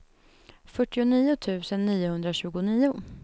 fyrtionio tusen niohundratjugonio